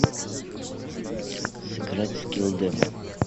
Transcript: сыграть в скилл демо